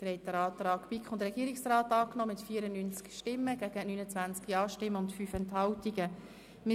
Sie haben den Antrag BiK und Regierungsrat mit 94 Nein- gegen 29 Ja-Stimmen bei 5 Enthaltungen angenommen.